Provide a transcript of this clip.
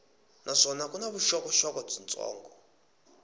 naswona ku na vuxokoxoko byitsongo